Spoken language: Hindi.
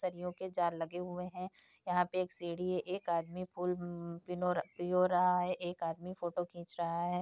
सरियों के जाल लगे हुए है यहाँ पे एक सीढ़ी है एक आदमी फूल पिनो पिरो रहा है एक आदमी फोटो खींच रहा है।